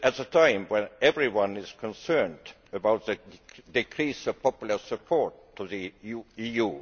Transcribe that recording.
This is at a time when everyone is concerned about the decrease of popular support for the EU.